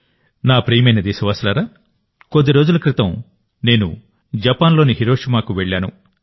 నా ప్రియమైన దేశవాసులారాకొద్ది రోజుల క్రితం నేను జపాన్లోని హిరోషిమాకు వెళ్ళాను